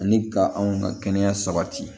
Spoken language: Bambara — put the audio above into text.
Ani ka anw ka kɛnɛya sabati